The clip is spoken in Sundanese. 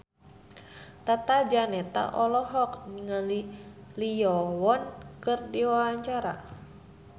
Tata Janeta olohok ningali Lee Yo Won keur diwawancara